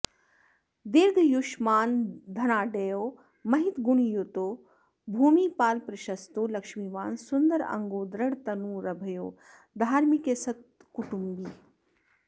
दीर्घयुष्मान्धनाढ्यो महितगुणयुतो भूमिपालप्रशस्तो लक्ष्मीवान् सुन्दराङ्गो दृढतनुरभयो धार्मिकः सत्कुटुम्बी